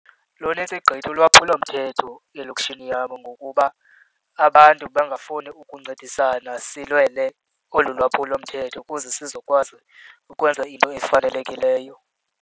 Luninzi gqithi ulwaphulomthetho elokishini yam ngokuba abantu bangafuni ukuncedisana silwele olu lwaphulomthetho ukuze sizokwazi ukwenza iinto ezifanelekileyo.